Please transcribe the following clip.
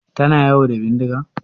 Tana yawo da bindiga?